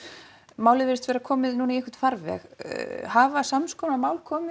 málið virðist vera komið í farveg hafa sams konar mál komið